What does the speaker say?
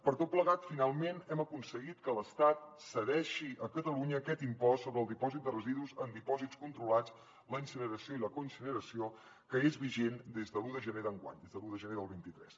per tot plegat finalment hem aconseguit que l’estat cedeixi a catalunya aquest impost sobre el dipòsit de residus en dipòsits controlats la incineració i la coincineració que és vigent des de l’un de gener d’enguany des de l’un de gener del vint tres